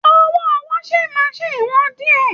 Owó washing machine wọ́n díẹ̀